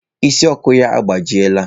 Ịsị Ọkụ ya agbajiela.